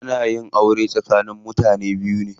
Ana yin aure tsakanin mutane biyu ne.